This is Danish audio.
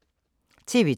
TV 2